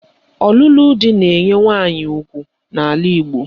Ọlụlụ di na-enye nwaanyị ugwu n'ala Igbo